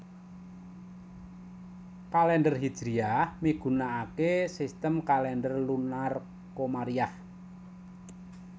Kalèndher Hijriyah migunakaké sistem kalèndher lunar komariyah